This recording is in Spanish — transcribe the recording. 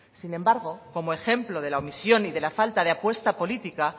sin embargo como ejemplo de la omisión y de la falta de la apuesta política